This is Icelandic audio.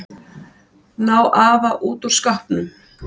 Ná afa út úr skápnum?